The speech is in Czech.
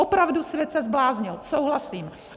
Opravdu, svět se zbláznil, souhlasím.